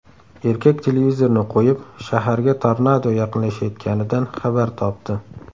Erkak televizorni qo‘yib, shaharga tornado yaqinlashayotganidan xabar topdi.